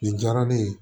Nin diyara ne ye